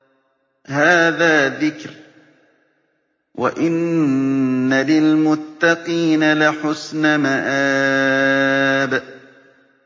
هَٰذَا ذِكْرٌ ۚ وَإِنَّ لِلْمُتَّقِينَ لَحُسْنَ مَآبٍ